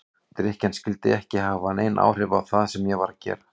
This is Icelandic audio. Drykkjan skyldi ekki hafa nein áhrif á það sem ég var að gera.